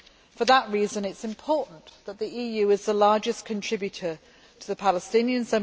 For that reason, it is important that the EU is the largest contributor to the Palestinians.